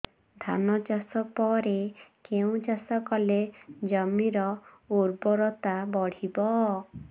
ଧାନ ଚାଷ ପରେ କେଉଁ ଚାଷ କଲେ ଜମିର ଉର୍ବରତା ବଢିବ